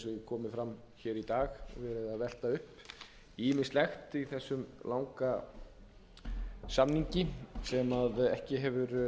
komið fram í dag verið að velta upp ýmsu í þessum langa samningi sem ekki hefur